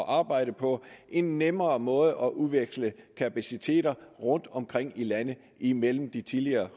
arbejde på en nemmere måde at udveksle kapacitet på rundtomkring i landet imellem de tidligere